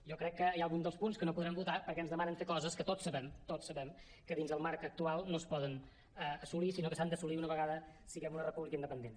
jo crec que hi ha algun dels punts que no podrem votar perquè ens demanen fer coses que tots sabem tots sabem que dins el marc actual no es poden assolir sinó que s’han d’assolir una vegada siguem una república independent